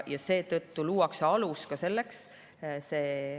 Seetõttu luuakse selleks alus.